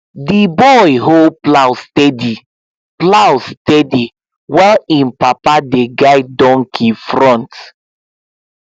the boy hold plow steady plow steady while him papa dey guide donkey front